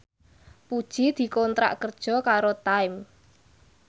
Puji dikontrak kerja karo Time